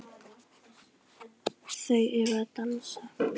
Þau eru að dansa